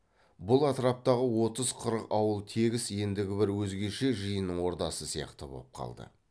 бұл атраптағы отыз қырық ауыл тегіс ендігі бір өзгеше жиынның ордасы сияқты боп қалды